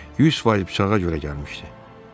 100 faiz bıçağa görə gəlmişdi.